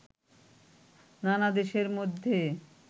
নানা দেশের মধ্যে